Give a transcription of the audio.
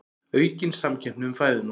Aukin samkeppni um fæðuna